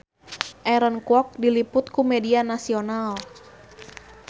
Aaron Kwok diliput ku media nasional